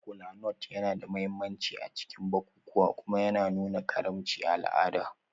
Kolanut yana da mahimmanci a cikin bukukuwa kuma yana nuna karimci a al'ada.